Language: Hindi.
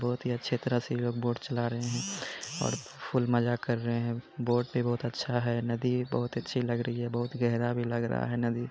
बहोत ही अच्छे तरह से ये लोग बोट चला रहे हैं और फुल मजा कर रहे हैं। बोट भी बहोत अच्छा है। नदी बहोत अच्छी लग रही है। बहोत गेहरा भी लग रहा है नदी।